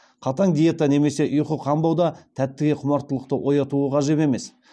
қатаң диета немесе ұйқы қанбау да тәттіге құмартылықты оятуы ғажап емес